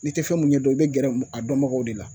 N'i tɛ fɛn mun ɲɛdɔn i bɛ gɛrɛ a dɔnbagaw de la